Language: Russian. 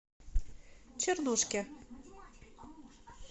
чернушке